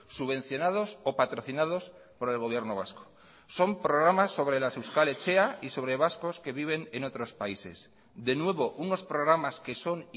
subvencionados o patrocinados por el gobierno vasco son programas sobre las euskal etxea y sobre vascos que viven en otros países de nuevo unos programas que son